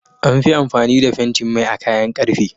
Anfi amfani da fentin Mai a kayan karfe